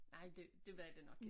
Nej det det var det nok ik